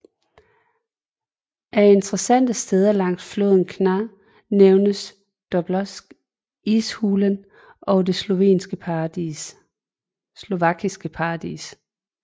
Af interessante steder langs floden kna nævnes Dobšiná Ishulen og det Slovakiske Paradis